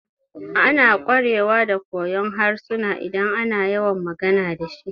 Ana ƙwarewa da koyon harsuna idan ana yawan magana dashi